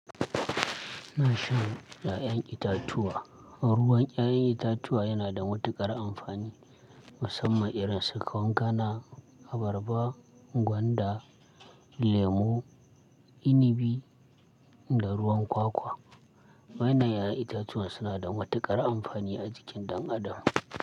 Ina shan ƴaƴan itatuwa. Ruwan ƴaƴan itatuwa yana da matuƙar amfani musamman irin su kwankana, abarba, gwanda, lemu, inibi da ruwan kwakwa. Wayannan ƴaƴan itatuwa suna da matuƙar amfani a jikin ɗan adam.